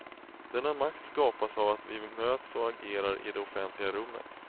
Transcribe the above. Denna makt skapas av att vi möts och agerar i det offentliga rummet.